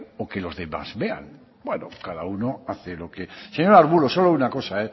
o que los demás vean bueno cada uno hace lo que señor arbulo solo una cosa